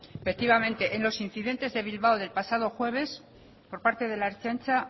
efectivamente en los incidentes de bilbao del pasado jueves por parte de la ertzaintza